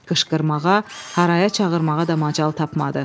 Qışqırmağa, haraya çağırmağa da macal tapmadı.